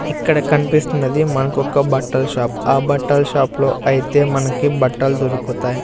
ఇక్కడ కనిపిస్తున్నది మనకు ఒక్క బట్టల షాప్ ఆ బట్టల షాప్ లో అయితే మనకి బట్టలు దొరుకుతాయి.